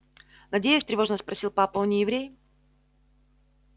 надеюсь тревожно спросил папа он не еврей